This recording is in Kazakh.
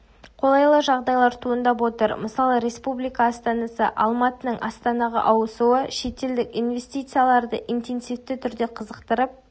қолайлы жағдайлар туындап отыр мысалы республика астанасы алматының астанаға ауысуы шетелдік инвестицияларды интенсивті түрде қызықтырып